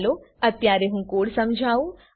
ચાલો અત્યારે હું કોડ સમજાવું